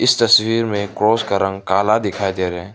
इस तस्वीर में क्रॉस का रंग काला दिखाई दे रहें --